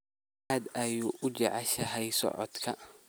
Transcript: Aad ayaad u jeceshahay socodka